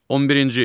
11-ci.